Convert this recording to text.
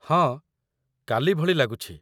ହଁ, କାଲି ଭଳି ଲାଗୁଛି।